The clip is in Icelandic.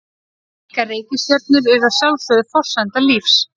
Slíkar reikistjörnur eru að sjálfsögðu forsenda lífs.